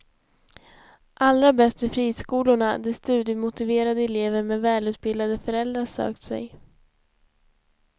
Allra bäst är friskolorna, dit studiemotiverade elever med välutbildade föräldrar sökt sig.